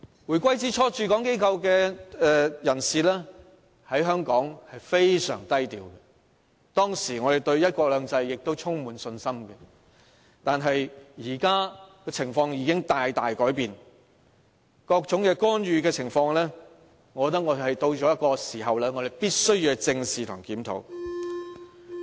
回歸之初，駐港機構的人士在香港非常低調，當時我們對"一國兩制"充滿信心，但現在情況已經大大改變，各種干預已到了必須正視和檢討的時候。